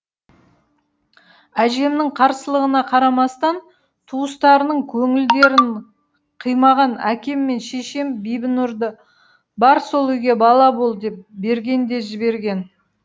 әжемнің қарсылығына қарамастан туыстарының көңілдерін қимаған әкем мен шешем бибінұрды бар сол үйге бала бол деп берген де жіберген